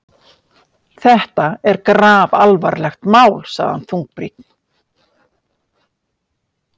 Þetta er grafalvarlegt mál sagði hann þungbrýnn.